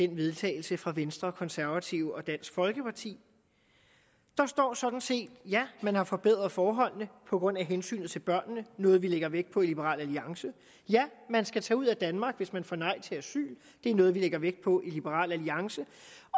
vedtagelse fra venstre konservative og dansk folkeparti der står sådan set at ja man har forbedret forholdene på grund af hensynet til børnene noget vi lægger vægt på i liberal alliance ja man skal tage ud af danmark hvis man får nej til asyl det er noget vi lægger vægt på i liberal alliance